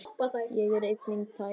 Ég er enginn tækni